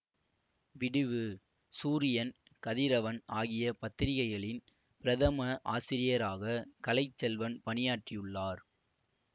விடிவு சூரியன் கதிரவன் ஆகிய பத்திரிகைகளின் பிரதம ஆசிரியராக கலை செல்வன் பணியாற்றியுள்ளார்